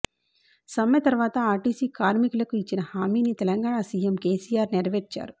సమ్మె తర్వాత ఆర్టీసీ కార్మికులకు ఇచ్చిన హామీని తెలంగాణ సీఎం కేసీఆర్ నెరవేర్చారు